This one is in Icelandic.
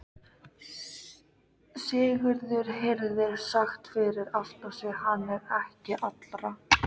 Sigurður heyrði sagt fyrir aftan sig:-Hann er ekki allra.